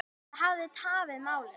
Það hafi tafið málið.